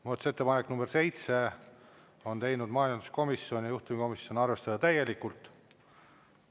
Muudatusettepaneku nr 7 on teinud majanduskomisjon ja juhtivkomisjon: arvestada täielikult.